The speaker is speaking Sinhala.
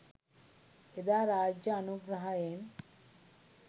එදා රාජ්‍ය අනුග්‍රහයෙන්